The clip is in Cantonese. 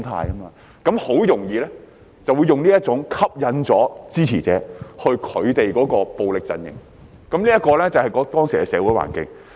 這樣，他們很容易用這種方式吸引支持者到他們的暴力陣營，這便是當時的社會環境。